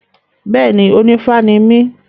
Bẹ́ẹ̀ni, onífá ni mí.